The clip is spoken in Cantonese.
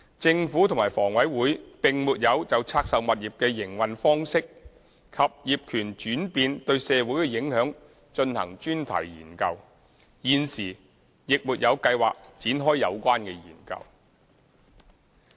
政府及房委會並沒有就拆售物業的營運方式及業權轉變對社會的影響進行專題研究，現時亦沒有計劃展開有關研究。